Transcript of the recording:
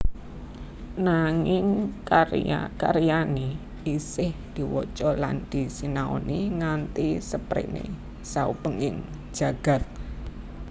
Nanging karya karyané isih diwaca lan disinaoni nganti sepréné saubenging jagat